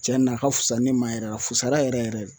Cɛn na a ka fusa ne ma yɛrɛ a fusara yɛrɛ yɛrɛ de.